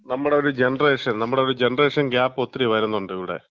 നമ്മടെ ഒരു ജനറേഷൻ, നമ്മടെ ഒരു ജനറേഷൻ ഗ്യാപ്പ് ഒത്തിരി വരുന്നുണ്ട് ഇവിടെ.